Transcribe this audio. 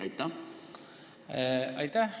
Aitäh!